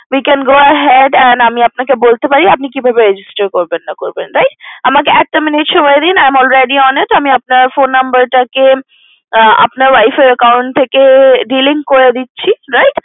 We can go ahead and আমি আপনাকে বলতে পারি আপনি কিভাবে register করবেন না করবেন right অনেক এক টা minute সময় দিন আমি already on the way আমি আপনার Phone Number টা কে আপনার wife এর account থেকে delete করে দিচ্ছি right